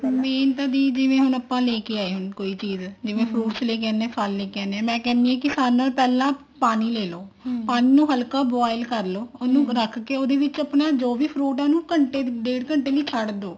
main ਤਾਂ ਦੀਦੀ ਜਿਵੇਂ ਹੁਣ ਆਪਾਂ ਲੈਕੇ ਆਏ ਚੀਜ਼ ਜਿਵੇਂ fruits ਫਲ ਲੈਕੇ ਆਉਂਦੇ ਹਾਂ ਮੈਂ ਕਹਿੰਦੀ ਹਾਂ ਸਭ ਨਾਲੋ ਪਹਿਲਾਂ ਪਾਣੀ ਲੈਲੋ ਪਾਣੀ ਨੂੰ ਹਲਕਾ boil ਕਰਲੋ ਉਹਨੂੰ ਰੱਖ ਕੇ ਆਪਣਾ ਜੋ ਵੀ fruit ਹੈ ਘੰਟੇ ਡੇਡ ਘੰਟੇ ਲਈ ਛੱਡ ਦੋ